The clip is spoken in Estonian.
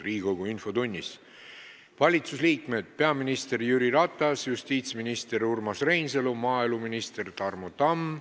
Valitsuse liikmetest on infotunnis peaminister Jüri Ratas, justiitsminister Urmas Reinsalu ja maaeluminister Tarmo Tamm.